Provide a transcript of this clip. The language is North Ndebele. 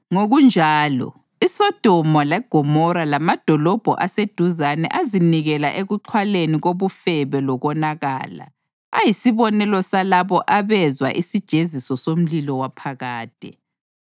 Ngokunjalo, iSodoma leGomora lamadolobho aseduzane azinikela ekuxhwaleni kobufebe lokonakala. Ayisibonelo salabo abezwa isijeziso somlilo waphakade.